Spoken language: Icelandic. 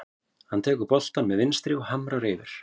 Hann tekur boltann með vinstri og hamrar yfir.